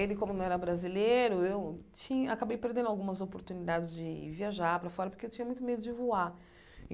Ele, como não era brasileiro, eu tinha acabei perdendo algumas oportunidades de viajar para fora, porque eu tinha muito medo de voar.